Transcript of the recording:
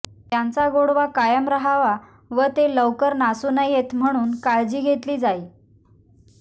त्यांचा गोडवा कायम राहवा व ते लवकर नासू नयेत म्हणून काळजी घेतली जाई